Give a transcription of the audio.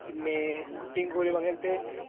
പിന്നേ കുട്ടീം കോലും അങ്ങനത്തെ